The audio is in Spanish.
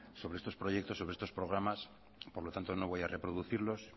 sobre estos proyectos sobre estos programas por lo tanto no voy a reproducirlos